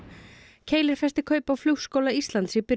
Keilir festi kaup á Flugskóla Íslands í byrjun